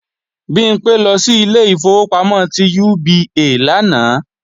Bimpé lọ sí ilé ìfowópamọ́ ti UBA lánàá